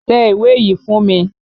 Tẹ ìwé yìí fún mi!